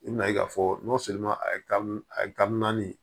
I bɛn'a ye k'a fɔ a ye kari naani